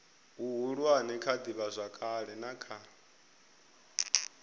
huhulu kha ivhazwakale na kha